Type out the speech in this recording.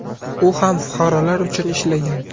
U ham fuqarolar uchun ishlagan.